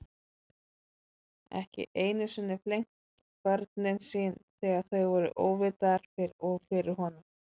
Ekki einu sinni flengt börnin sín þegar þau voru óvitar og fyrir honum.